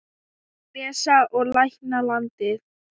Að lesa og lækna landið.